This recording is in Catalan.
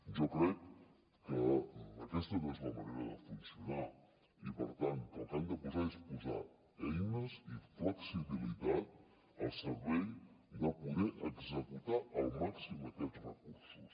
jo crec que aquesta no és la manera de funcionar i per tant que el que hem de posar són eines i flexibilitat al servei de poder executar al màxim aquests recursos